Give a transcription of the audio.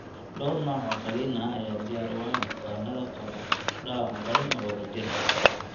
Dhawr nooc oo qalliin ah ayaa diyaar u ah bukaannada qaba dhaawac daran oo wadajir ah.